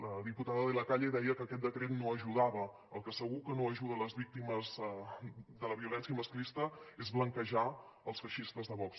la diputada de la calle deia que aquest decret no ajudava el que segur que no ajuda les víctimes de la violència masclista és blanquejar els feixistes de vox